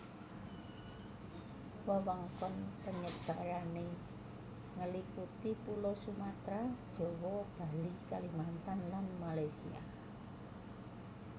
Wewengkon penyebarané ngeliputi pulau Sumatera Jawa Bali Kalimantan lan Malaysia